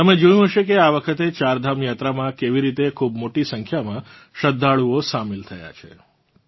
તમે જોયું હશે કે આ વખતે ચારધામ યાત્રામાં કેવી રીતે ખૂબ મોટી સંખ્યામાં શ્રદ્ધાળુઓ સામેલ થયા હતાં